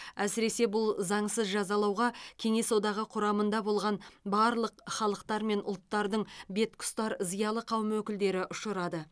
әсіресе бұл заңсыз жазалауға кеңес одағы құрамында болған барлық халықтар мен ұлттардың бетке ұстар зиялы қауым өкілдері ұшырады